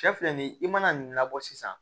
Cɛ filɛ nin ye i mana nin labɔ sisan